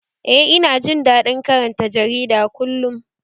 Eh, ina jin daɗin karanta jarida kullum